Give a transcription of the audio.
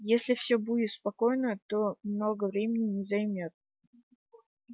если всё будет спокойно то много времени не займёт